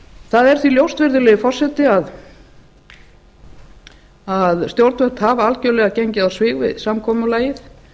það er því ljóst virðulegi forseti að stjórnvöld hafa algerlega gengið á svig við samkomulagið